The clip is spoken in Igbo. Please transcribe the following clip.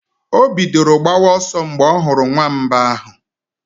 O bidoro gbawa ọsọ mgbe ọ hụrụ nwamba ahụ.